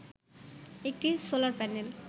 একটি solar panel